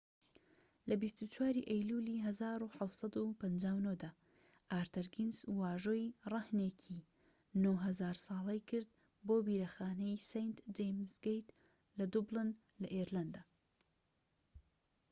لە ٢٤ ی ئەیلولی 1759 دا ئارتەر گینس واژۆی رەهنێکی ٩٠٠٠ ساڵەی کرد بۆ بیرەخانەی سەینت جەیمس گەیت لە دوبلن لە ئێرلەندا